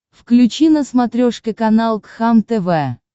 включи на смотрешке канал кхлм тв